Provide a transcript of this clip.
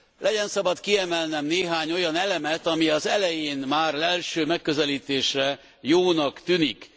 Legyen szabad kiemelnem néhány olyan elemet, ami az elején, már az első megközelítésre jónak tűnik.